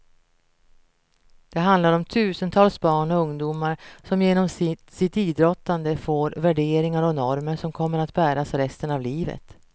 Det handlar om tusentals barn och ungdomar som genom sitt idrottande får värderingar och normer som kommer att bäras resten av livet.